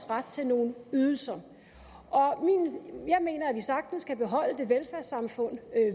ret til nogle ydelser jeg mener at vi sagtens kan beholde det velfærdssamfund